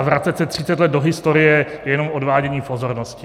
A vracet se 30 let do historie je jenom odvádění pozornosti.